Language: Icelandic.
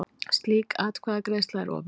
Slík atkvæðagreiðsla er opinber.